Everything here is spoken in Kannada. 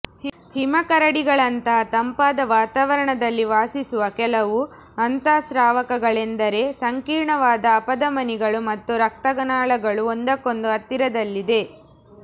ಹಿಮಕರಡಿಗಳಂತಹ ತಂಪಾದ ವಾತಾವರಣದಲ್ಲಿ ವಾಸಿಸುವ ಕೆಲವು ಅಂತಃಸ್ರಾವಕಗಳೆಂದರೆ ಸಂಕೀರ್ಣವಾದ ಅಪಧಮನಿಗಳು ಮತ್ತು ರಕ್ತನಾಳಗಳು ಒಂದಕ್ಕೊಂದು ಹತ್ತಿರದಲ್ಲಿದೆ